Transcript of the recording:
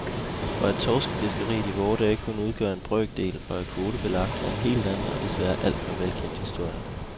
Og at torskefiskeriet i vore dage kun udgør en brøkdel og er kvotebelagt, er en helt anden og desværre alt for velkendt historie.